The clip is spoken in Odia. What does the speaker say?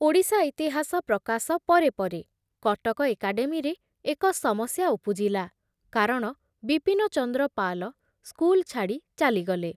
ଓଡ଼ିଶା ଇତିହାସ ପ୍ରକାଶ ପରେ ପରେ କଟକ ଏକାଡେମୀରେ ଏକ ସମସ୍ୟା ଉପୁଜିଲା, କାରଣ ବିପିନଚନ୍ଦ୍ର ପାଲ ସ୍କୁଲ ଛାଡ଼ି ଚାଲିଗଲେ ।